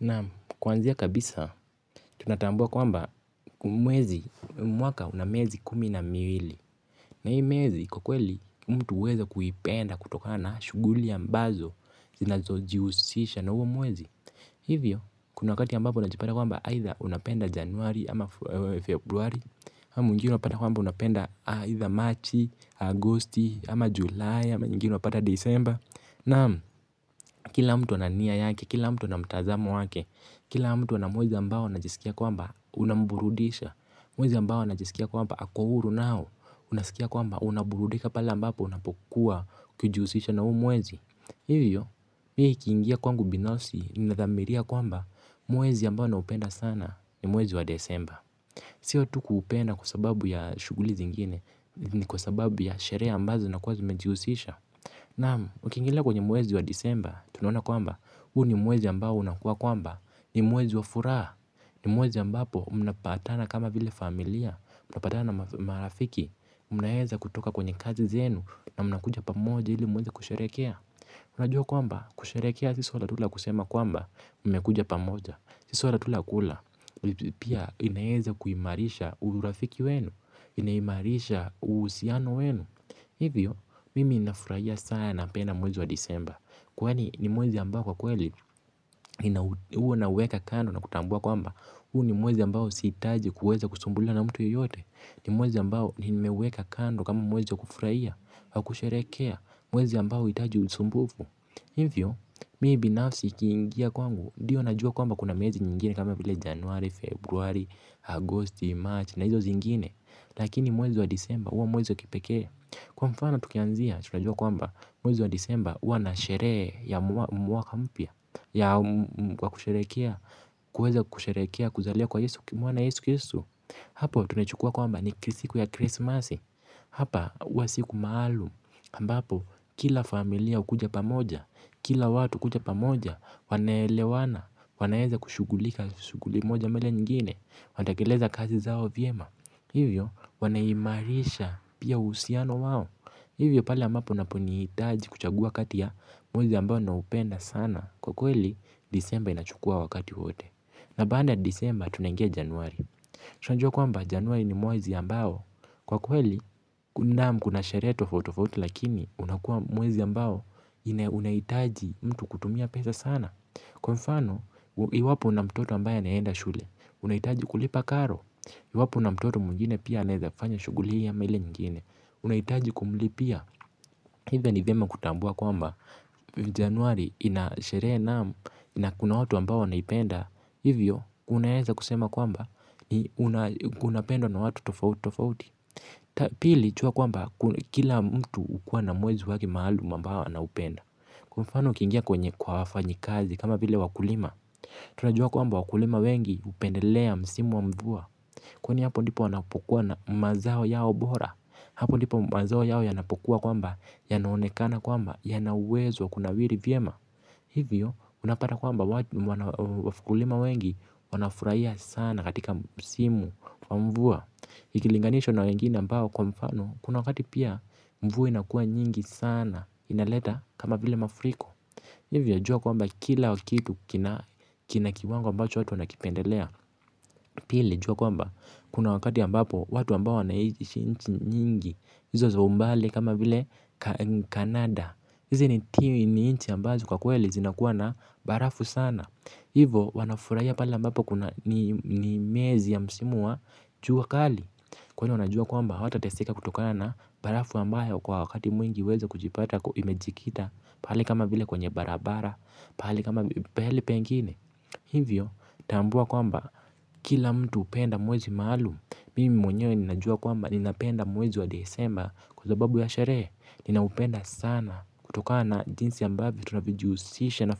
Naam kwanzia kabisa tunatambua kwamba mwaka una miezi kumi na miwili. Na hii miezi kwakweli mtu huweza kuipenda kutokana na shughuli ambazo zinazojihusisha na huo mwezi. Hivyo kuna wakati ambapo unajipata kwamba aidha unapenda januari ama februari ama mwingine unapata kwamba unapenda aidha Machi, Agosti ama Julai ama nyingine unapata Disemba. Naam, kila mtu ana nia yake, kila mtu ana mtazamo wake, kila mtu ana mwezi ambao anajisikia kwamba unamburudisha, mwezi ambao anajisikia kwamba ako huru nao, unasikia kwamba unaburudika pale ambapo unapokuwa ukijihusisha na huu mwezi. Hivyo, mie ikiingia kwangu binafsi nina dhamiria kwamba mwezi ambao naupenda sana ni mwezi wa disemba. Siyo tu kuupenda kwa sababu ya shughuli zingine ni kwa sababu ya sherekhe ambazo zinakuwa zimejihusisha. Naam, ukiingilia kwenye mwezi wa disemba, tunaona kwamba, huu ni mwezi ambao unakuwa kwamba, ni mwezi wa furaha, ni mwezi ambapo mna patana kama vile familia, mna patana na marafiki, mna weza kutoka kwenye kazi zenu, na mna kuja pamoja ili muweze kusheherekhea. Unajua kwamba kusheherekhea si swala tu la kusema kwamba mmekuja pamoja. Si swala tu la kula. Pia inaweza kuimarisha urafiki wenu. Imeimarisha uhusiano wenu. Hivyo, mimi ninafurahia sana na napenda mwezi wa disemba. Kwani ni mwezi ambao kwa kweli huo nauweka kando na kutambua kwamba huu ni mwezi ambao sihitaji kuweza kusumbuliwa na mtu yoyote. Ni mwezi ambao nimeuweka kando kama mwezi wa kufurahia wa kusheherekhea mwezi ambao huhitaji usumbufu. Hivyo, mimi binafsi kiingia kwangu ndio najua kwamba kuna miezi nyingine kama vile januari, februari, agosti, marchi na hizo zingine. Lakini mwezi wa disemba uo mwezi wa kipekea. Kwa mfano tukianzia tunajua kwamba mwezi wa disemba huwa na sherekhe ya mwaka mpya ya wakusherekhea kuweza kusherehekhea kuzaliwa kwa yesu, kwa Yesu kristo. Hapo tumechukua kwamba ni siku ya krismasi. Hapa huwa siku maalumu ambapo kila familia hukuja pamoja. Kila watu kuja pamoja wanaelewana. Wanaweza kushughulika shughuli moja ama ile nyingine. Wanatekeleza kazi zao vyema. Hivyo wanaimarisha pia uhusiano wao. Hivyo pale ambapo unaponihitaji kuchagua kati ya mwezi ambao ninaoupenda sana kwa kweli disemba inachukua wakati wote. Na baada ya disemba tunaingia januari tunajua kwamba januari ni mwezi ambao kwa kweli naam, kuna sherehe tofauti tofauti lakini unakuwa mwezi ambao unahitaji mtu kutumia pesa sana. Kwa mfano iwapo una mtoto ambaye anaenda shule unahitaji kulipa karo. Iwapo una mtoto mwingine pia anawezafanya shughuli hii ama ile nyingine. Unahitaji kumulipia, hivyo ni vyema kutambua kwamba Januari ina sherekhe naam. Na kuna watu ambao wanaipenda. Hivyo unaweza kusema kwamba inapendwa na watu tofauti tofauti. Pili jua kwamba kila mtu hukuwa na mwezi wake maalumu ambao anaupenda kwa mfano ukiingia kwenye kwa wafanyikazi kama vile wakulima. Tunajua kwamba wakulima wengi wanapendelea msimu wa mvua. Kwani hapo ndipo wanapokuwa na mazao yao bora. Hapo ndipo mazao yao yanapokuwa kwamba, yanaonekana kwamba, yanauwezo wa kunawiri vyema. Hivyo unapata kwamba wakulima wengi wanafurahia sana katika msimu wa mvua. Ikilinganishwa na wengine ambao kwa mfano kuna wakati pia mvua inakua nyingi sana inaleta kama vile maafuriko. Hivyo jua kwamba kila kitu kina kiwango ambacho wana kipendelea. Hivyo, mimi binafsi kiingia kwangu. Dio najua kwamba kuna mezi nyingine kama vile januari, februari, agosti, marchi na hizo zingine. Lakini mwezi wa disemba uo mwezi wa kipekea. Kwa mfana tukianzia tunajua kwamba mwezi wa disemba huwa na sherekhe ya mwaka mpya Canada hizi ni nchi ambazo kwa kweli zinakuwa na barafu sana hivyo wanafurahia pale ambapo ni miezi ya msimu wa jua kali, kwani wanajua kwamba hawatateseka kutokana na barafu ambayo kwa wakati mwingi huweza kujipata imejikita pahali kama vile kwenye barabara, pahali pengine hivyo hapa uwa siku maalu ambapo kila familia ukuja pa moja. Kila watu kuja pa moja wanelewana. Wanaeza kushugulika shuguli moja mele nyingine. Watakileza kazi zao vyema. Hiyo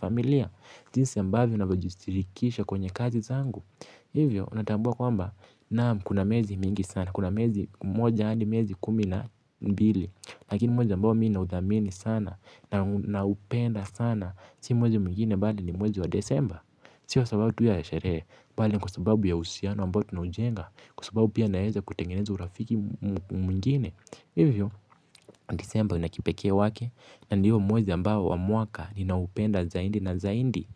waneimarisha pia usiano wao. Hivyo natambua kwamba naam kuna miezi mingi sana, kuna miezi moja hadi miezi kumi na mbili, lakini mwezi ambao mimi nauthamini sana naupenda sana si mwezi mwingine bali ni mwezi wa disemba. Sio kwa sababu tu ya sherekhe, bali kwa sababu ya uhusianio ambao tunaujenga, kwa sababu pia naweza kutengeneza urafiki mwingine, hivyo Disemba una kipekee wake na ndio mwezi ambao wa mwaka ninaupenda zaidi na zaidi.